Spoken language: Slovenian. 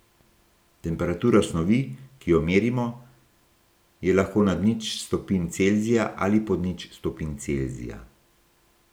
Temperatura snovi, ki jo merimo, je lahko nad nič stopinj Celzija ali pod nič stopinj Celzija.